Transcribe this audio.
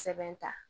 Sɛbɛn ta